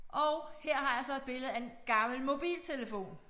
Og her har jeg så et billede af en gammel mobiltelefon